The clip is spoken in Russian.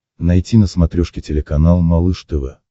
найти на смотрешке телеканал малыш тв